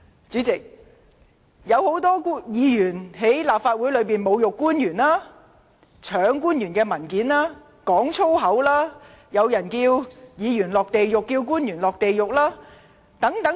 主席，多位議員在立法會會議上侮辱官員、搶去官員的文件，說粗言，更有人要議員和官員下地獄等。